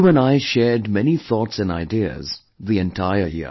You and I shared many thoughts and ideas the entire year